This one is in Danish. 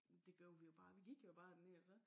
Men gjorde vi jo bare vi gik jo bare derned og så